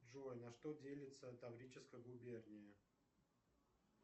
джой на что делится таврическая губерния